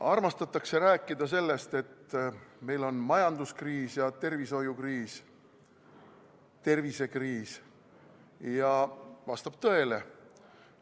Armastatakse rääkida sellest, et meil on majanduskriis ja tervishoiukriis, tervisekriis, ja see vastab tõele.